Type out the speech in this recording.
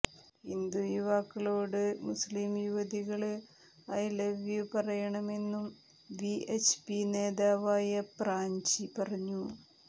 ഹിന്ദു യുവാക്കളോട് മുസ്ലിം യുവതികള് I love you പറയണമെന്നും വിഎച്ച്പി നേതാവായ പ്രാചി പറഞ്ഞു